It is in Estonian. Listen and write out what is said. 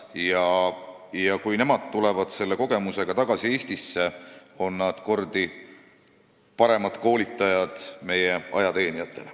Ja kui need inimesed tulevad saadud kogemustega tagasi Eestisse, on nad meie ajateenijatele kordi paremad koolitajad.